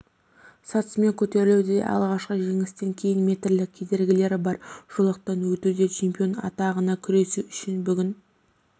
сатысымен көтерілуде алғашқы жеңістен кейін метрлік кедергілері бар жолақтан өтуде чемпион атағына күресу шні бүгін